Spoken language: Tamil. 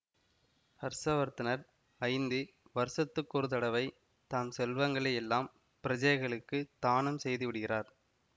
ஹர்ஷவர்த்தனர் ஐந்து வருஷத்துக்கொரு தடவை தம் செல்வங்களை யெல்லாம் பிரஜைகளுக்குத் தானம் செய்து விடுகிறார்